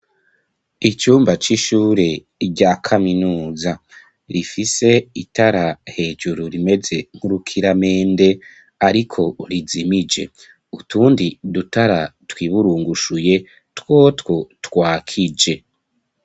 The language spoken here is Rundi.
Icumba c'ishure rya kaminuza rifise itara hejuru rimeze nk'urukiramende ariko urizimije, utundi dutara twiburungushuye twotwo twakije.